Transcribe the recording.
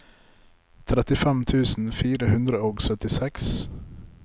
trettifem tusen fire hundre og syttiseks